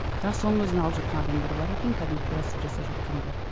бірақ соның өзін алып жатқан адамдар бар екен кәдімгі пиратство жасап жатқандар